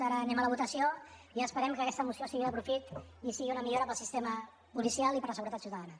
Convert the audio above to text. ara anem a la votació i esperem que aquesta moció sigui de profit i sigui una millora per al sistema policial i per a la seguretat ciutadana